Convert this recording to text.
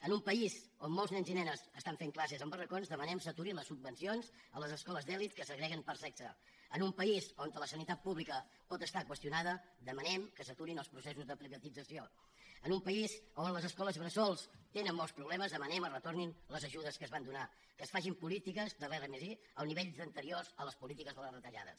en un país on molts nens i nenes estan fent classes en barracons demanem que s’aturin les subvencions a les escoles d’elit que segreguen per sexe en un país on la sanitat pública pot estar qüestionada demanem que s’aturin els processos de privatització en un país on les escoles bressol tenen molts problemes demanem que es retornin les ajudes que es van donar que es facin polítiques de l’r+i als nivells anteriors a les polítiques de les retallades